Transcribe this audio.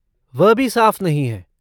वह भी साफ़ नहीं हैं।